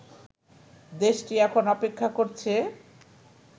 দেশটি এখন অপেক্ষা করছে